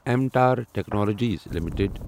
M Tar technologies limited